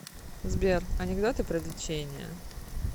сбер анекдоты про лечение